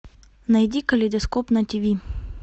найди калейдоскоп на тв